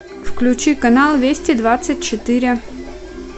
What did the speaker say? включи канал вести двадцать четыре